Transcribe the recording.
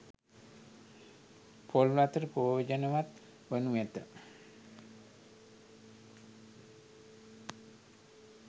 පොල් වතුර ප්‍රයෝජනවත් වනු ඇත